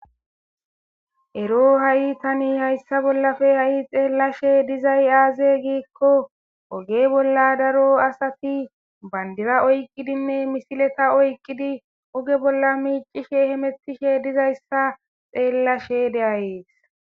ero ha7i tani hayssa bollafe ha7i xeellashe dizay aaze giikko oge bolla daro asati bandira oykqidinne misileta oykqidi oge bolla miicishe hemettishe dizayssa xeellashe deayees